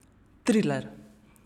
Triler.